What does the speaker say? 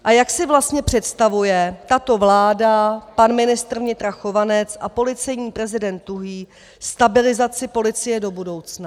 A jak si vlastně představuje tato vláda, pan ministr vnitra Chovanec a policejní prezident Tuhý stabilizaci policie do budoucna?